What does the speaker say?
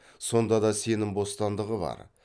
сондада сенім бостандығы бар